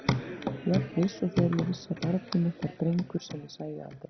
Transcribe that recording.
Jafn viss og þegar ég vissi að barnið mitt var drengur sem ég sæi aldrei.